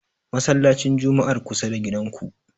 Masallacin Jum'ar kusa da gidanku.